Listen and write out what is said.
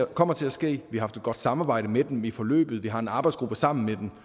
kommer til at ske jeg har haft et godt samarbejde med dem i forløbet vi har en arbejdsgruppe sammen med dem